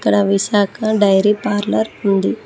రవి శాఖ dairy parlour ఉంది.